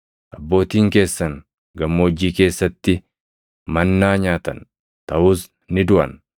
Abbootiin keessan gammoojjii keessatti mannaa nyaatan; taʼus ni duʼan.